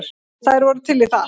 Þær voru til í það.